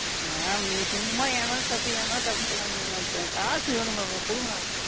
Ma'am நீங்க சும்மா என்மேல தப்பு என்மேல தப்புன்னு சொல்லாதீங்க Ma'am இப்ப எனக்கு காசு வேணும் Ma'am கொடுங்க.